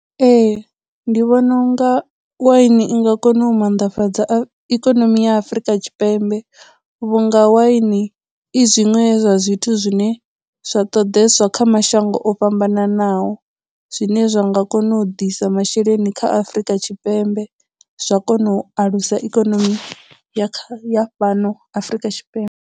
Ee, ndi vhona unga waini i nga kona u mannḓafhadza ikonomi ya Afurika Tshipembe vhu nga waini i zwiṅwe zwa zwithu zwine zwa ṱoḓeswa zwa kha mashango o fhambananaho, zwine zwa nga kona u ḓisa masheleni kha Afurika Tshipembe zwa kona u alusa ikonomi ya fhano Afurika Tshipembe.